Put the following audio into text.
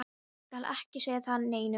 Ég skal ekki segja það neinum.